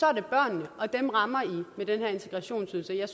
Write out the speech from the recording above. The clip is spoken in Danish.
er det børnene og dem rammer i med den her integrationsydelse jeg